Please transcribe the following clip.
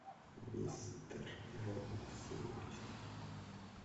мистер робот серия четыре